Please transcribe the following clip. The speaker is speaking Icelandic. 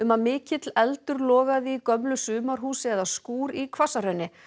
að mikill eldur logaði í gömlu sumarhúsi eða skúr í Hvassahrauni